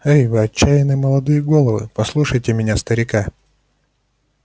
эй вы отчаянные молодые головы послушайте меня старика